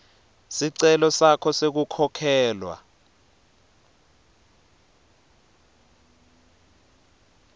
sicelo sakho sekukhokhelwa